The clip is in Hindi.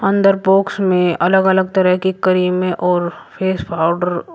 अंदर बॉक्स में अलग अलग तरह की क्रीमें और फेस पाउडर --